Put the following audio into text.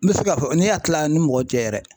N bɛ se k'a fɔ ne y'a kila ni mɔgɔ cɛ yɛrɛ